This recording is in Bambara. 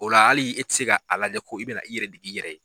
O la hali e tɛ se k'a a lajɛ ko i bɛna i yɛrɛ d i yɛrɛ ye.